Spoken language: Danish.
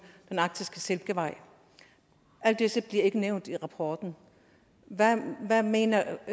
den arktiske silkevej alt dette bliver ikke nævnt i rapporten hvad mener